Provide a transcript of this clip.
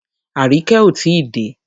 Aríkẹ́ ò tí dé.